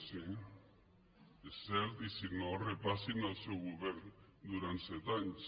sí és cert i si no repassin el seu govern durant set anys